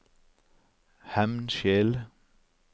Hemnskjel